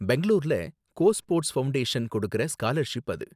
பெங்களூருல Go Sports Foundation கொடுக்குற scholarship அது.